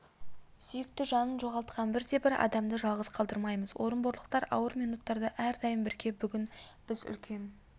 сүйікті жанын жоғалтқан бірде-бір адамды жалғыз қалдырмаймыз орынборлықтар ауыр минуттарда әрдайым бірге бүгін біз үлкен